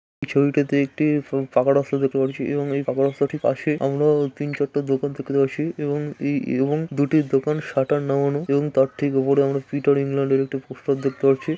এই ছবিটা তো একটি পাকা রাস্তা দেখতে পারছি । এবং এই পাকে রাস্তাটি পাশে আমরা তিন চারটা দোকান দেখতে পাচ্ছি । এবং এই এরকম দুটি দোকান সাটার নামানো । এবং তার থেকে উপরে আমরা পিটার ইংল্যান্ড -এর একটা পোস্টার দেখতে পাচ্ছি।